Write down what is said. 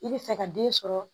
I bɛ fɛ ka den sɔrɔ